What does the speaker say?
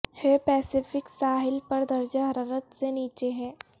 ہے پیسیفک ساحل پر درجہ حرارت سے نیچے ہے